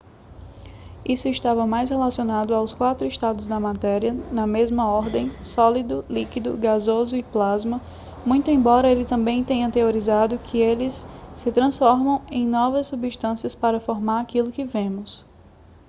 isso estava mais relacionado aos quatro estados da matéria na mesma ordem: sólido líquido gasoso e plasma muito embora ele também tenha teorizado que eles se transformam em novas substâncias para formar aquilo que vemos